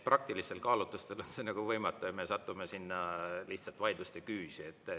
Praktilistel kaalutlustel on see nagu võimatu ja me satume lihtsalt vaidluste küüsi.